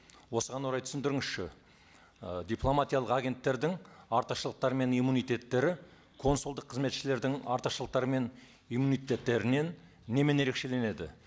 осыған орай түсіндіріңізші ы дипломатиялық агенттердің артықшылықтары мен иммунитеттері консулдық қызметшілердің артықшылықтары мен иммунитеттерінен немен ерекшеленеді